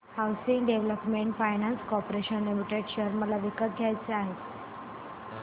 housing development finance corporation limited share मला विकत घ्यायचे आहेत